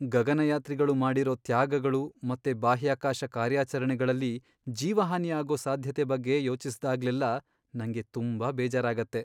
ಗಗನಯಾತ್ರಿಗಳು ಮಾಡಿರೋ ತ್ಯಾಗಗಳು ಮತ್ತೆ ಬಾಹ್ಯಾಕಾಶ ಕಾರ್ಯಾಚರಣೆಗಳಲ್ಲಿ ಜೀವಹಾನಿ ಆಗೋ ಸಾಧ್ಯತೆ ಬಗ್ಗೆ ಯೋಚಿಸ್ದಾಗ್ಲೆಲ್ಲ ನಂಗೆ ತುಂಬಾ ಬೇಜಾರಾಗತ್ತೆ.